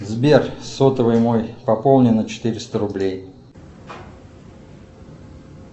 сбер сотовый мой пополни на четыреста рублей